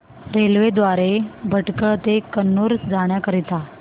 railway द्वारे भटकळ ते कन्नूर जाण्या करीता